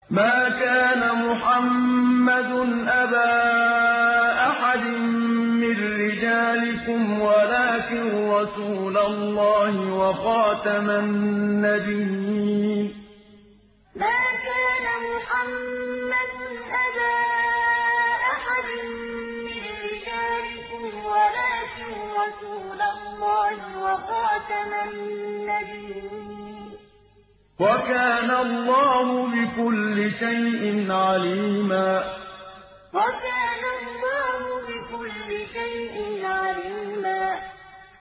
مَّا كَانَ مُحَمَّدٌ أَبَا أَحَدٍ مِّن رِّجَالِكُمْ وَلَٰكِن رَّسُولَ اللَّهِ وَخَاتَمَ النَّبِيِّينَ ۗ وَكَانَ اللَّهُ بِكُلِّ شَيْءٍ عَلِيمًا مَّا كَانَ مُحَمَّدٌ أَبَا أَحَدٍ مِّن رِّجَالِكُمْ وَلَٰكِن رَّسُولَ اللَّهِ وَخَاتَمَ النَّبِيِّينَ ۗ وَكَانَ اللَّهُ بِكُلِّ شَيْءٍ عَلِيمًا